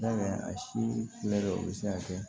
Yala a si mɛ o bɛ se ka kɛ